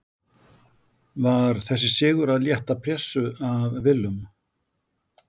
Var þessi sigur að létta pressu af Willum?